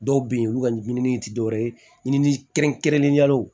Dɔw bɛ yen olu ka ɲinini tɛ dɔwɛrɛ ye ɲi ni kɛrɛnkɛrɛnnenyala